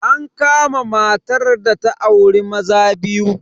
An kama matar da ta auri maza biyu.